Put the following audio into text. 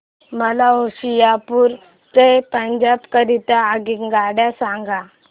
मला होशियारपुर ते पंजाब करीता आगगाडी सांगा